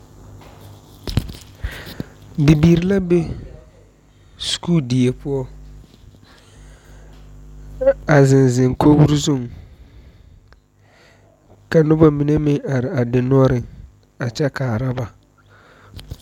Bibiiri la be sakuuri die poɔ, a zeŋ zeŋ kogiree zuŋ ka Noba mine meŋ are a dendɔreŋ a kyɛ kaara ba.